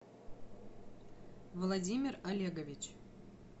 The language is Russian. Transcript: владимир олегович